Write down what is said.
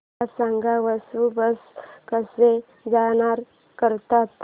मला सांग वसुबारस कसा साजरा करतात